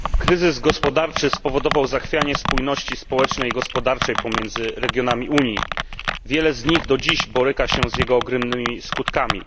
Panie Przewodniczący! Kryzys gospodarczy spowodował zachwianie spójności społecznej i gospodarczej pomiędzy regionami Unii. Wiele z nich do dziś boryka się z jego ogromnymi skutkami.